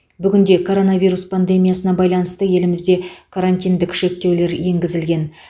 бүгінде коронавирус пандемиясына байланысты елімізде карантиндік шектеулер енгізілген